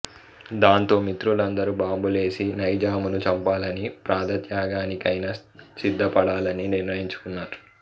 దాంతో మిత్రులందరు బాంబులేసి నైజామును చంపాలని ప్రాణ త్యాగానికైనా సిద్ధపడాలని నిర్ణయించుకున్నారు